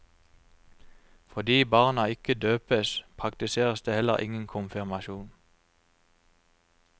Fordi barna ikke døpes, praktiseres det heller ingen konfirmasjon.